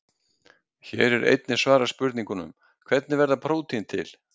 Hér er einnig svarað spurningunum: Hvernig verða prótín til?